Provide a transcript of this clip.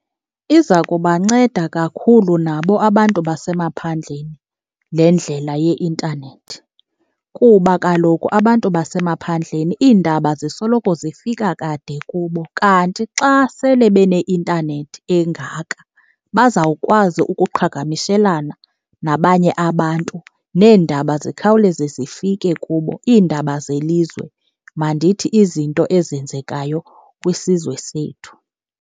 Iza kubanceda kakhulu nabo abantu basemaphandleni le ndlela yeintanethi kuba kaloku abantu basemaphandleni iindaba zisoloko zifika kade kubo. Kanti xa sele beneintanethi engaka bazawukwazi ukuqhagamishelana nabanye abantu neendaba zikhawuleze zifike kubo, iindaba zelizwe, mandithi izinto ezenzekayo kwisizwe sethu.